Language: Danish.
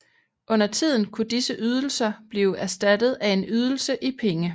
Undertiden kunne disse ydelser blive erstattet af en ydelse i penge